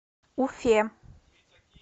уфе